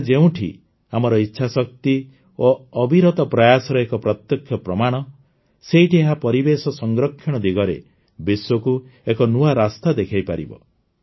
ଏହା ଯେଉଁଠି ଆମର ଇଚ୍ଛାଶକ୍ତି ଓ ଅବିରତ ପ୍ରୟାସର ଏକ ପ୍ରତ୍ୟକ୍ଷ ପ୍ରମାଣ ସେଇଠି ଏହା ପରିବେଶ ସଂରକ୍ଷଣ ଦିଗରେ ବିଶ୍ୱକୁ ଏକ ନୂଆ ରାସ୍ତା ଦେଖାଇପାରିବ